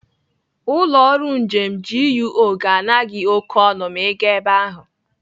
Ụlọ ọrụ njem GUO ga-ana gị oké ọnụ ma Ị gaa ebe ahụ.